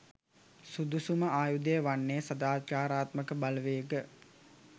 සුදුසුම ආයුධය වන්නේ සදාචාරාත්මක බලවේග